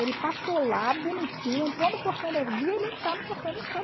Ele passou lá bonitinho, entrou no portão vi ele entrar no portão da escola